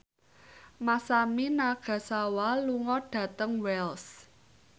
Masami Nagasawa lunga dhateng Wells